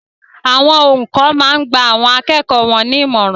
Awon oùkọ́ máa n gba àwọn akẹ́kọ̀ọ́ won ní ìmọ̀ràn